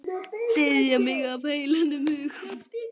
Styðja mig af heilum hug?